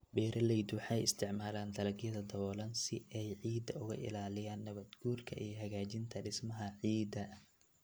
Beeraleydu waxay isticmaalaan dalagyada daboolan si ay ciidda uga ilaaliyaan nabaad-guurka iyo hagaajinta dhismaha ciidda.